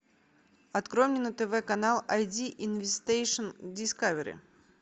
открой мне на тв канал ай ди инвестейшн дискавери